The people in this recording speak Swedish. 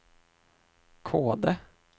Kode